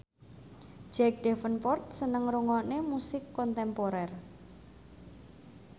Jack Davenport seneng ngrungokne musik kontemporer